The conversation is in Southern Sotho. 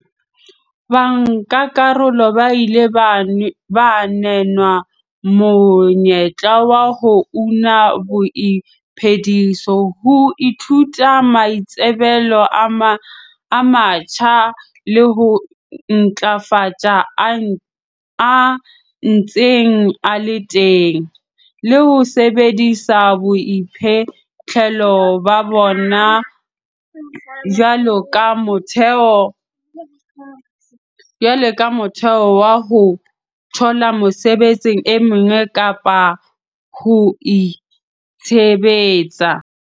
Bankakarolo ba ile ba nehwa monyetla wa ho una boiphediso, ho ithuta maitsebelo a matjha le ho ntlafatsa a ntseng a le teng, le ho sebedisa boiphihlelo ba bona jwaloka motheo wa ho thola mesebetsi e meng kapa ho itshebetsa.